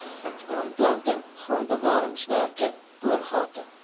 aanplanting grondbewaringswerke boorgate